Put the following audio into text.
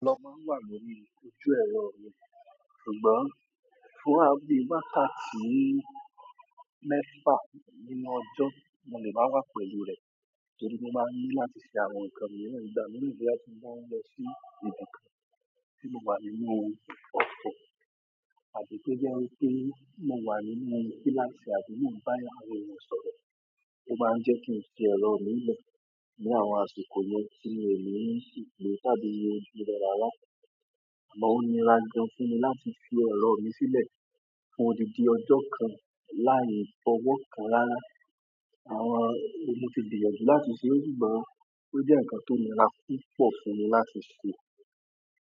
Lọ máa ń wà lórí ojú ẹ̀rọ mi, ṣùgbọ́n fún à bí wákàtí mẹ́fà nínú ọjọ́ mo lẹ́ má wà pẹ̀lú rẹ̀. Torí mo máa ń ní láti sẹ àwọn nǹkan mìíràn ìgbà mí boya tí mo bá ń lọ sí ibi kan tí mo wá nínú ọkọ̀ àbí to jẹ́ wípé mo wà nínú kíláàsì àbí mo n ba eeyan kan sọ̀rọ̀. O maa n je ki n fi ero mi le ni àwọn àsìkò yen ti mi o ni lo, tàbí wo ojú re rara. Àmọ́ ó nira gan fún mi láti fi ẹ̀ro mi sílẹ̀ fún òdìdí ọjọ́ kan láì fọwọ́ kan rárá. Àwọn mo ti gbìyànjú láti ṣe ṣùgbọ́n ó jẹ́ nǹkan tó ńirá púpọ̀ fún mi láti ṣe.